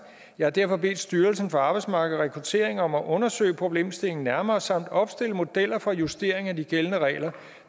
jeg har derfor bedt styrelsen for arbejdsmarked og rekruttering om at undersøge problemstillingen nærmere samt opstille modeller for justering af de gældende regler